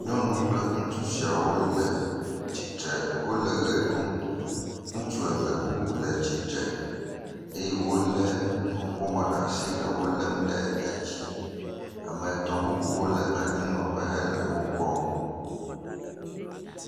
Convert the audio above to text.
Nyɔnu kple ŋutsu sia wole tsi tre le ʋe ɖum. Ŋutsu eve bubu le tsitre eye wole nuƒomɔ ɖe asi le elem ɖe edzi. Ame etɔ bubuwo le anyinɔƒe he le wokpɔm.